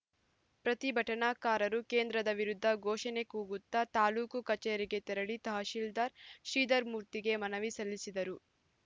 ಪ್ರತಿಭಟನಾಕಾರರು ಕೇಂದ್ರದ ವಿರುದ್ಧ ಘೋಷಣೆ ಕೂಗುತ್ತ ತಾಲೂಕು ಕಚೇರಿಗೆ ತೆರಳಿ ತಹಶೀಲ್ದಾರ್‌ ಶ್ರೀಧರಮೂರ್ತಿಗೆ ಮನವಿ ಸಲ್ಲಿಸಿದರು